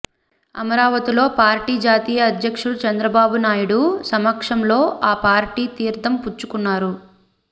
అమరావతిలో పార్టీ జాతీయ అధ్యక్షుడు చంద్రబాబునాయుడు సమక్షంలో ఆ పార్టీ తీర్థం పుచ్చుకున్నారు